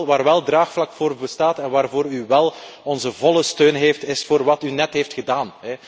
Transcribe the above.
Waar wel een draagvlak voor bestaat en waarvoor u wel onze volle steun heeft, is voor wat u net hebt gedaan.